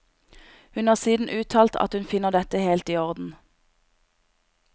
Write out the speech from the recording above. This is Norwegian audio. Hun har siden uttalt at hun finner dette helt i orden.